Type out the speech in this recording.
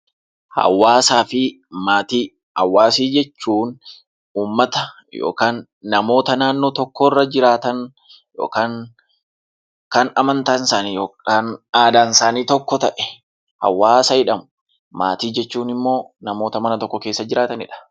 Hawaasa jechuun uummata yookiin namoota naannoo tokko irra jiraatan yookiin kan aadaan yookiin amantaan isaanii tokko ta'e hawaasa jedhamu. Maatii jechuun immoo namoota mana tokko keessa jiraatanidha.